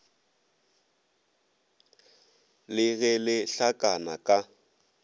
le ge le hlakana ka